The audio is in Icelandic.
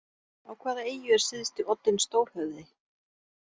Á hvaða eyju er syðsti oddinn stórhöfði?